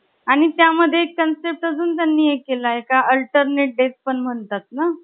आणि त्या मध्ये एक concept पण त्यांनी ऍड केलाय alternate days का काय म्हणतात ना ?